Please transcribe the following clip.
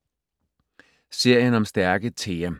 Serien om stærke Thea